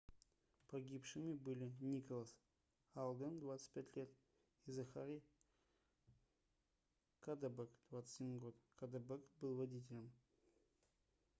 погибшими были николас алден 25 лет и захари каддебэк 21 год каддебэк был водителем